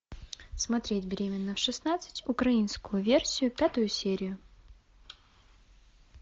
смотреть беременна в шестнадцать украинскую версию пятую серию